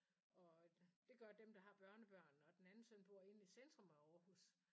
Og det gør dem der har børnebørn og den ene søn inde i centrum af Aarhus